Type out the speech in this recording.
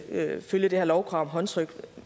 vil følge det her lovkrav om håndtryk